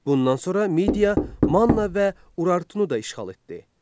Bundan sonra Midiya, Manna və Urartunu da işğal etdi.